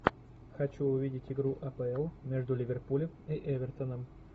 хочу увидеть игру апл между ливерпулем и эвертоном